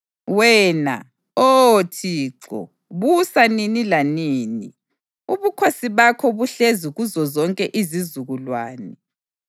Wena, Oh Thixo, busa nini lanini; ubukhosi bakho buhlezi kuzozonke izizukulwane.